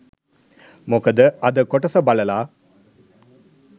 මොකද අද කොටස බලලා